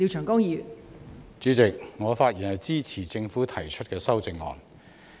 代理主席，我發言支持政府提出的修正案。